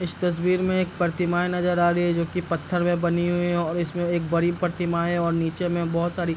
इस तस्वीर में एक प्रतिमा नजर आ रही है जो की पत्थर में बनी हुइ है और इसमें एक बड़ी प्रतिमा है और नीचे में बहुत सारी --